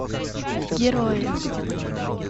герои